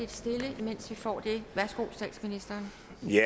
stille imens vi får det værsgo statsministeren